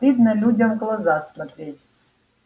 стыдно людям в глаза смотреть